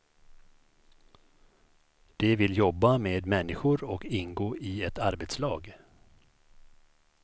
De vill jobba med människor och ingå i ett arbetslag.